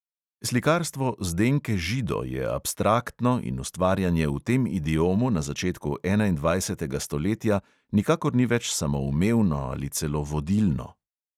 Slikarstvo zdenke žido je abstraktno in ustvarjanje v tem idiomu na začetku enaindvajsetega stoletja nikakor ni več samoumevno ali celo vodilno.